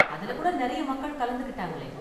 அதுல கூட நிறைய மக்கள் கலந்துக்கிட்டாங்களே.